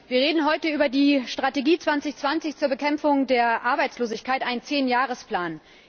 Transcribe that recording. Wir reden heute über die Strategie 2020 zur Bekämpfung der Arbeitslosigkeit, einen Zehnjahresplan.